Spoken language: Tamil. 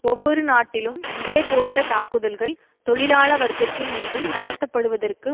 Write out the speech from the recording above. ஒவ்வொரு நாட்டிலும் இதேபோன்ற தாக்குதல்கள் தொழிலாள வர்க்கத்தின் மீது நடத்த படுவதற்கு